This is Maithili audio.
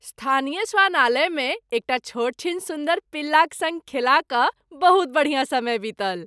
स्थानीय श्वानालयमे एकटा छोटछीन सुन्दर पिल्लाक सङ्ग खेला कऽ बहुत बढ़िया समय बीतल।